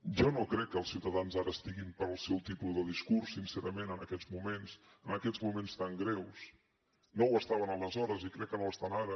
jo no crec que els ciutadans ara estiguin pel seu tipus de discurs sincerament en aquests moments en aquests moments tan greus no ho estaven aleshores i crec que no ho estan ara